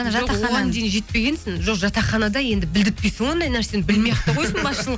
жоқ оған дейін жетпегенсін жоқ жатақханада енді білдіртпейсің ғой ондай нәрсені білмей ақ та қойсын басшылық